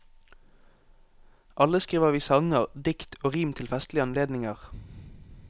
Alle skriver vi sanger, dikt og rim til festlige anledninger.